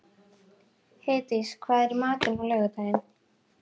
Heiðdís, hvað er í matinn á laugardaginn?